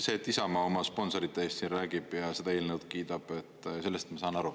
Sellest, et Isamaa oma sponsorite eest siin räägib ja seda eelnõu kiidab, ma saan aru.